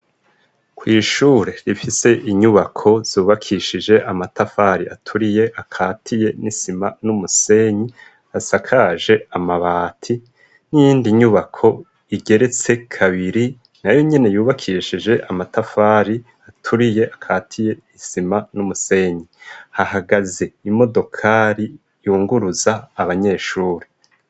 Kw'ishure rifise inyubako zubakishije amatafari aturiye akatiye n'isima n'umusenyi asakaje amabati n'iyindi nyubako igeretse kabiri na yo nyene yubakishije amatafari aturiye akatiye isima n'umusenyi h agaze imodokari yunguruza abanyeshuri.